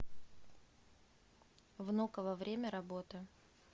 внуково время работы